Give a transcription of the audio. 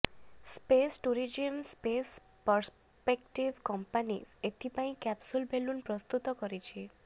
space tourism space perspective company ଏଥିପାଇଁ capsule balloon ପ୍ରସ୍ତୁତ କରିଛି